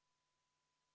Istungi lõpp kell 10.21.